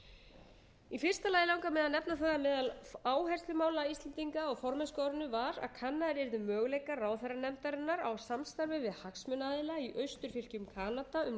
í fyrsta lagi langar mig að nefna það að meðal áherslumála íslendinga á formennskuárinu var að kannaðir yrðu möguleikar ráðherranefndarinnar á samstarfi við hagsmunaaðila í austurfylkjum kanada um